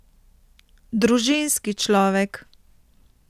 Družinski človek.